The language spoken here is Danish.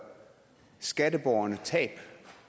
skatteborgerne tab